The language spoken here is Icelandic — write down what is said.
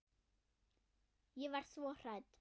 Ég var svo hrædd.